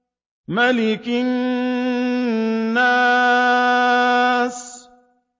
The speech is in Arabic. مَلِكِ النَّاسِ